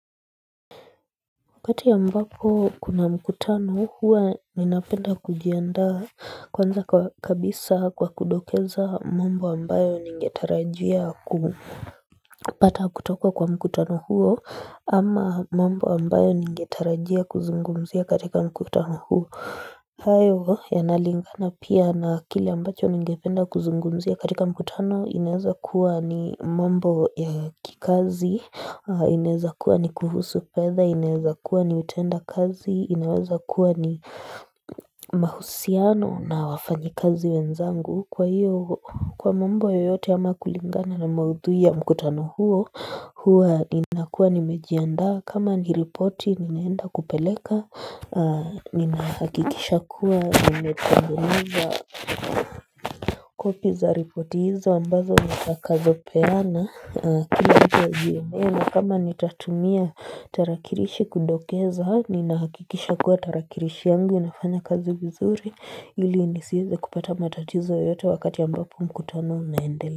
Wakati ambapo kuna mkutano huwa ninapenda kujianda kwanza kabisa kwa kudokeza mambo ambayo ningetarajia kupata kutoka kwa mkutano huo ama mambo ambayo ningetarajia kuzungumzia katika mkutano huo hayo yanalingana pia na kile ambacho ningependa kuzungumzia katika mkutano inaweza kuwa ni mambo ya kikazi, inaweza kuwa ni kuhusu fedha, inaweza kuwa ni utendakazi, inaweza kuwa ni mahusiano na wafanyikazi wenzangu kwa hiyo kwa mambo yoyote ama kulingana na maudhui ya mkutano huo hua Ninakuwa nimejiandaa kama niripoti ninaenda kupeleka Ninahakikisha kuwa nimetengeneza Copy za ripoti hizo ambazo nitakazopeana kila mtu azionge kama nitatumia tarakilishi kudokeza nina hakikisha kuwa tarakilishi yangu inafanya kazi vizuri ili nisiweze kupata matatizo yoyote wakati ambapo mkutano unaendelea.